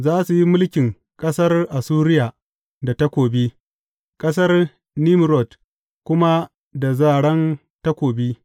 Za su yi mulkin ƙasar Assuriya da takobi, ƙasar Nimrod kuma da zaran takobi.